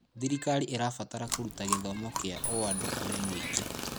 Thirikari ĩrabatara kũruta gĩthomo kĩa ũandũ kũrĩ mũingĩ.